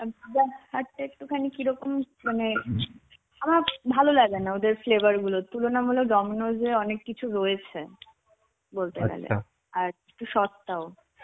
hut টা একটুখানি কিরকম মানে আমার ভালো লাগে না ওদের flavor গুলোর তুলনামূলক Dominos এ অনেক কিছু রয়েছে বলতে গেলে. আর একটু সস্তাও.